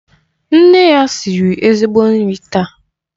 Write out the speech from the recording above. Nne ya siri ezigbo nri taa.